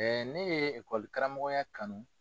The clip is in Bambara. ne ye karamɔgɔya kanu.